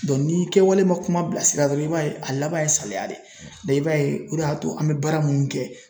ni kɛwale ma kuma bilasira, i b'a ye a laban ye saliya de ye i b'a ye o de y'a to an bɛ baara minnu kɛ